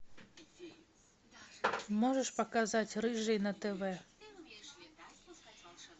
можешь показать рыжий на тв